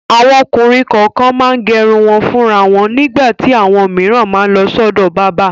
Àwọn ọkùnrin kọ̀ọ̀kan máa ń gẹrun wọn fúnra wọn nígbà tí àwọn òmíràn máa lọ sọ́dọ̀ bábà.